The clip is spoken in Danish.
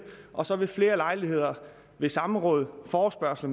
og så ved flere lejligheder samråd forespørgsler